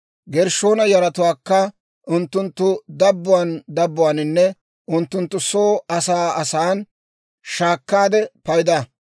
«Gershshoona yaratuwaakka unttunttu dabbuwaan dabbuwaaninne unttunttu soo asan asan shaakkaade payda;